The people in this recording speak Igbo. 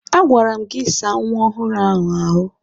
A gwara m gị saa nwa ọhụrụ ahụ ahụ!